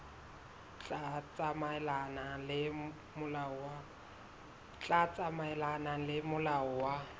tla tsamaelana le molao wa